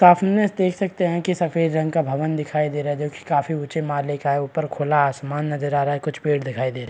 देख सकते है की सफेद रंग का भवन दिखाई दे रहा है जो की काफी ऊँचे माले का है ऊपर खुला आसमान नजर आ रहा है कुछ पेड़ दिखाई दे र --